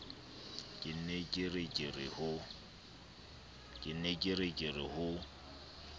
ke ne ke re ho